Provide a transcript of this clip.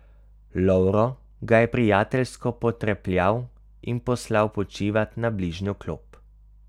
Lovro ga je prijateljsko potrepljal in poslal počivat na bližnjo klop.